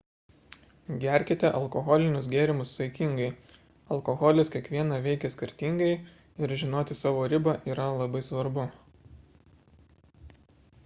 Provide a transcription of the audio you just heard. gerkite alkoholinius gėrimus saikingai alkoholis kiekvieną veikia skirtingai ir žinoti savo ribą yra labai svarbu